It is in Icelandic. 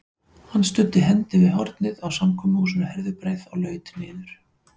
Hann studdi hendi við hornið á samkomuhúsinu Herðubreið og laut niður.